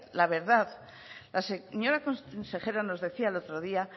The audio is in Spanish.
la verdad la señora consejera nos decía el otro día